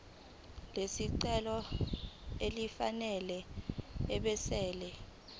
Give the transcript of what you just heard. lesicelo elifanele ebese